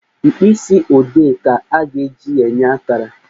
Mkpịsị odee ka a ga-eji enye akara